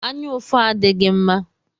Anyaụfụ adighi mma